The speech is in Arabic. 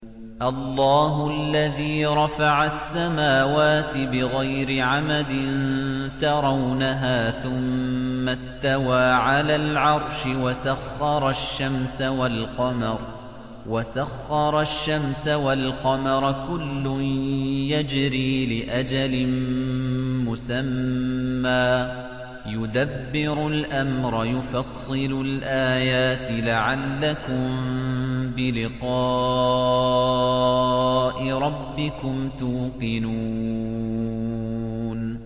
اللَّهُ الَّذِي رَفَعَ السَّمَاوَاتِ بِغَيْرِ عَمَدٍ تَرَوْنَهَا ۖ ثُمَّ اسْتَوَىٰ عَلَى الْعَرْشِ ۖ وَسَخَّرَ الشَّمْسَ وَالْقَمَرَ ۖ كُلٌّ يَجْرِي لِأَجَلٍ مُّسَمًّى ۚ يُدَبِّرُ الْأَمْرَ يُفَصِّلُ الْآيَاتِ لَعَلَّكُم بِلِقَاءِ رَبِّكُمْ تُوقِنُونَ